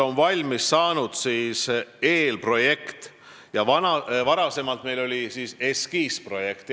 On valmis saanud eelprojekt, varem oli meil eskiisprojekt.